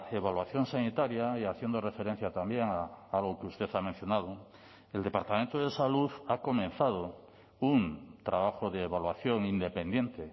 evaluación sanitaria y haciendo referencia también a lo que usted ha mencionado el departamento de salud ha comenzado un trabajo de evaluación independiente